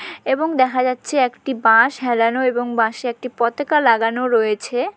এবং দেখা যাচ্ছে একটি বাঁশ হেলানো এবং বাঁশে একটি পতাকা লাগানো রয়েছে।